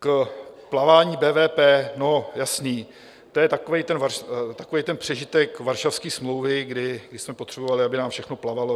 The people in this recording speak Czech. K plavání BVP - no, jasné, to je takový ten přežitek Varšavské smlouvy, kdy jsme potřebovali, aby nám všechno plavalo.